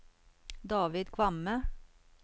David Kvamme